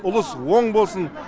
ұлыс оң болсын